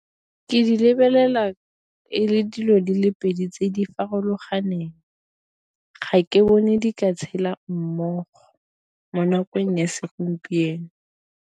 Ke di lebelela e le dilo di le pedi tse di farologaneng, ga ke bone di ka tshela mmogo mo nakong ya segompieno.